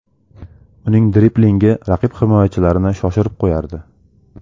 Uning driblingi raqib himoyachilarini shoshirib qo‘yardi.